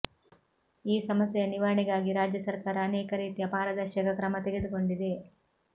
ಈ ಸಮಸ್ಯೆಯ ನಿವಾರಣೆಗಾಗಿ ರಾಜ್ಯ ಸರ್ಕಾರ ಅನೇಕ ರೀತಿಯ ಪಾರದರ್ಶಕ ಕ್ರಮ ತೆಗೆದುಕೊಂಡಿದೆ